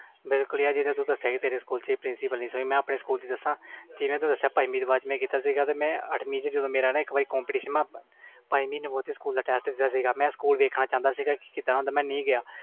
ਬਿਲਕੁਲ ਯਾਰ ਜਿਵੇ ਤੂੰ ਦਸਿਆ ਤੇਰੇ ਸਕੂਲ ਵਿਚ ਆ ਮੈਂ ਆਪਣੇ ਸਕੂਲ ਵਿਚ ਦਸਾ ਪੰਜਵੀ ਤੋਂ ਬਾਅਦ ਅੱਠਵੀ ਵਿਚ ਜਦੋ ਮੇਰਾ competition ਸੀ ਪੰਜਵੀ ਵਿਚ ਟੈਸਟ ਦਿੱਤਾ ਸੀ ਤੇ ਸਕੂਲ ਦੇਖਣ ਚਾਹੁੰਦਾ ਸੀ ਕਿ ਕੀਦਾ ਦਾ ਹੁੰਦਾ ਸੀ ਮੈਂ ਨਹੀਂ ਗਿਆ